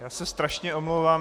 Já se strašně omlouvám.